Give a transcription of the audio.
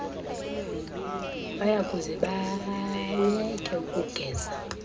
bayakuze bayeke ukugeza